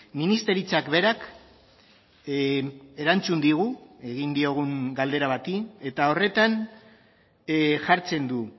ministeritzak berak erantzun digu egin diogun galdera bati eta horretan jartzen du